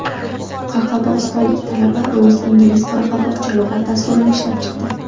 Qoraqalpog‘istonlik talaba rus-ingliz-qoraqalpoqcha lug‘at dasturini ishlab chiqdi.